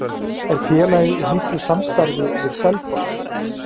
Er félagið í miklu samstarfi við Selfoss?